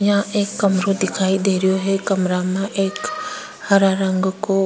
यहाँ एक कमरा दिखाई देरो है कमरों के एक हरा रंग को --